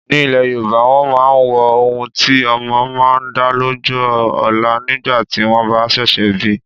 Ní ile Yorùbá, wọn máa ń wo ohun tí ọmọ máa dà lọ́jọ́ ọlá nígbà tí wọ́n bá ṣẹ̀ṣẹ̀ bi.